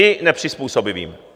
I nepřizpůsobivým.